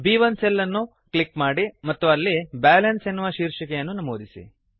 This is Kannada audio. ಬ್1 ಸೆಲ್ ಅನ್ನು ಕ್ಲಿಕ್ ಮಾಡಿ ಮತ್ತು ಅಲ್ಲಿ ಬ್ಯಾಲನ್ಸ್ ಎನ್ನುವ ಶೀರ್ಷಿಕೆಯನ್ನು ನಮೂದಿಸಿ